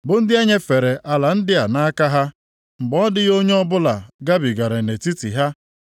bụ ndị e nyefere ala ndị a nʼaka ha mgbe ọ dịghị onye ọbịa gabigara nʼetiti ha.